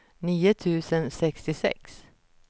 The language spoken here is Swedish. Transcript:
nio tusen sextiosex